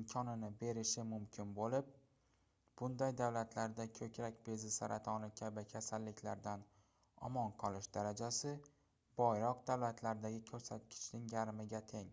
imkonini berishi mumkin boʻlib bunday davlatlarda koʻkrak bezi saratoni kabi kasalliklardan omon qolish darajasi boyroq davlatlardagi koʻrsatkichning yarmiga teng